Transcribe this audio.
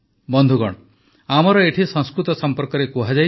ବନ୍ଧୁଗଣ ଆମର ଏଠି ସଂସ୍କୃତ ସଂପର୍କରେ କୁହାଯାଇଛି